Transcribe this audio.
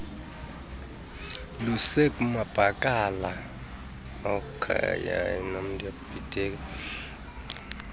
lusekumabakala asakhulayo isende